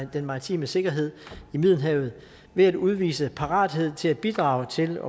den maritime sikkerhed i middelhavet ved at udvise parathed til at bidrage til